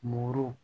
Mori